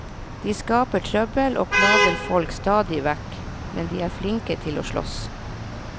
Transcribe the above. De skaper trøbbel og plager folk stadig vekk, men de er flinke til å slåss.